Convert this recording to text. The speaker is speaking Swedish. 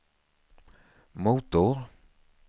motor